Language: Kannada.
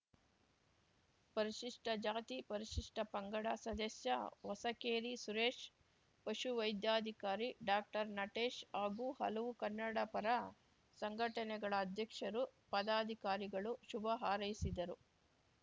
ಪರಿಷಿಷ್ಠ ಜಾತಿ ಪರಿಷಿಷ್ಠ ಪಂಗಡ ಸದಸ್ಯ ಹೊಸಕೇರಿ ಸುರೇಶ್‌ ಪಶುವೈದ್ಯಾಧಿಕಾರಿ ಡಾಕ್ಟರ್ ನಟೇಶ್‌ ಹಾಗೂ ಹಲವು ಕನ್ನಡಪರ ಸಂಘಟನೆಗಳ ಅಧ್ಯಕ್ಷರು ಪದಾಧಿಕಾರಿಗಳು ಶುಭ ಹಾರೈಸಿದರು